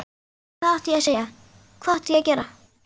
Hvað átti ég að segja, hvað átti ég að gera?